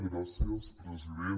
gràcies president